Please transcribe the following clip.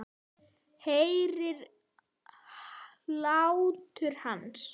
Heyri hlátur hans.